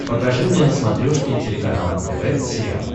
покажи мне на смотрешке телеканал нтв сериал